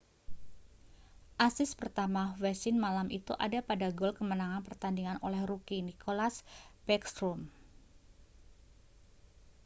asis pertama ovechkin malam itu ada pada gol kemenangan pertandingan oleh rookie nicklas backstrom